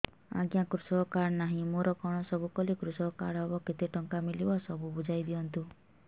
ଆଜ୍ଞା କୃଷକ କାର୍ଡ ନାହିଁ ମୋର କଣ ସବୁ କଲେ କୃଷକ କାର୍ଡ ହବ କେତେ ଟଙ୍କା ମିଳିବ ସବୁ ବୁଝାଇଦିଅନ୍ତୁ